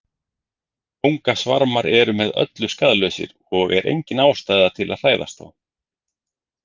Kóngasvarmar eru með öllu skaðlausir og er engin ástæða til að hræðast þá.